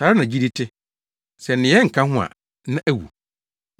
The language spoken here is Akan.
Saa ara na gyidi te. Sɛ nneyɛe nka ho a, na awu.